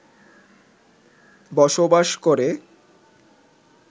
বসবাস করে